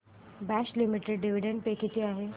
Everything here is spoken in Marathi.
बॉश लिमिटेड डिविडंड पे किती आहे